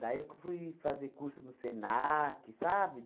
Daí que eu fui fazer curso no SENAC, sabe?